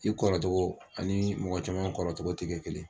I kɔrɔ togo ani mɔgɔ caman kɔrɔ togo tɛ kɛ kelen ye.